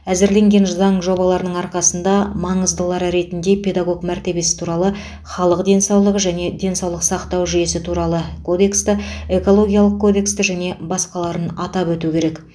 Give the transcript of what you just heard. әзірленген заң жобаларының арқасында маңыздылары ретінде педагог мәртебесі туралы халық денсаулығы және денсаулық сақтау жүйесі туралы кодексті экологиялық кодексті және басқаларын атап өту керек